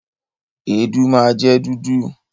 Èédú máa jẹ dúdú.